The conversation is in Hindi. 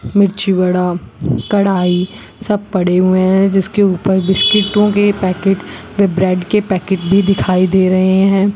मिर्ची बड़ा कढ़ाई सब पड़े हुए हैं जिसके ऊपर बिस्किट्टों के पैकेट व ब्रेड के पैकेट भी दिखाई दे रहे हैं।